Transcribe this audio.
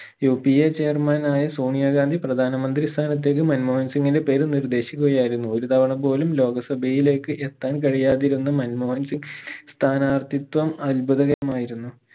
UPAchairman ആയ സോണിയ ഗാന്ധി പ്രധാന മന്ത്രി സ്ഥാനത്തേക്ക് മൻമോഹൻ സിംഗിന്റെ പേര് നിർദ്ദേശിക്കുകയായിരുന്നു ഒരു തവണ പോലും ലോക സഭയിലേക്ക് എത്താൻ കഴിയാതിരുന്ന മൻമോഹൻ സിംഗ് സ്ഥാനാർത്ഥിത്വം അത്ഭുതകരമായിരുന്നു